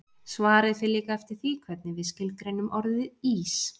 Svarið fer líka eftir því hvernig við skilgreinum orðið ís.